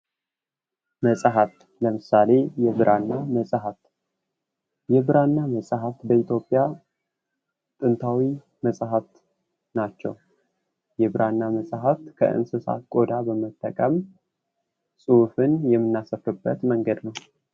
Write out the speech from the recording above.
መጽሃፍ ለምሳሌ የብራና መጽሃፍ የብራና መጽሃፍ በኢትዮጵያ ጥንታዊ መጽሃፍት ናቸው። የብራና መጽሃፍት ከእንሥሳት ቆዳ በመጠቀም ጽሁፍን የምናሰፍርበት መንገድ ነው።